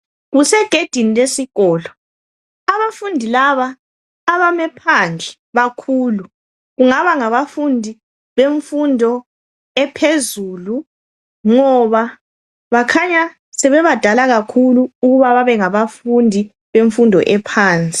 Kusegedini lesikolo. Abafundi laba abame phandle bakhulu. Kungaba ngabafundi bemfundo ephezulu ngoba bakhanya sebebadala kakhulu ukuba babe ngabafundi bemfundo phansi.